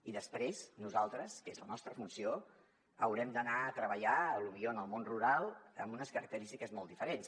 i després nosaltres que és la nostra funció haurem d’anar a treballar potser en el món rural amb unes característiques molt diferents